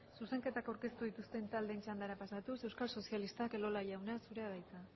zuzenketak aurkeztu dituzten taldeen txandara pasatuz euskal sozialistak elola jauna zurea da hitza